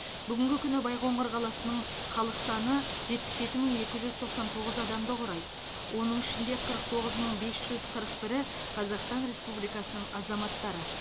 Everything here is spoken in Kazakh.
бүгінгі күні байқоңыр қаласының халық саны жетпіс жеті мың екі жүз тоқсан тоғыз адамды құрайды оның ішінде қырық тоғыз мың бес жүз қырық бірі қазақстан республикасының азаматтары